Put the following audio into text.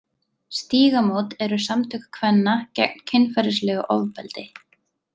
Stígamót eru samtök kvenna gegn kynferðislegu ofbeldi.